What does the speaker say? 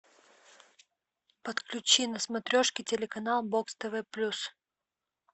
подключи на смотрешке телеканал бокс тв плюс